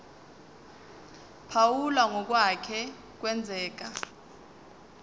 phawula ngokwake kwenzeka